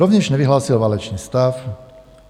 Rovněž nevyhlásil válečný stav.